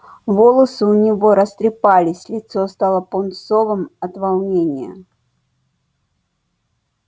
волосы у него растрепались лицо стало пунцовым от волнения